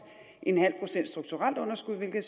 en halv procent strukturelt underskud hvilket